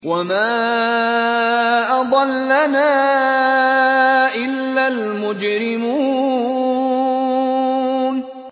وَمَا أَضَلَّنَا إِلَّا الْمُجْرِمُونَ